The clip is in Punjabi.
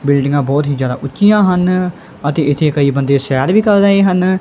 ਬਿਲਡਿੰਗਾਂ ਬੋਹੁਤ ਹੀ ਜਿਆਦਾ ਉਂਚੀਆਂ ਹਨ ਅਤੇ ਇੱਥੇ ਇੱਕ ਅੱਧੇ ਬੰਦੇ ਸੈਰ ਵੀ ਕਰ ਰਹੇ ਹਨ।